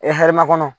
hɛrɛ ma kɔnɔ